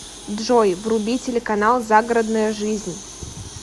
джой вруби телеканал загородная жизнь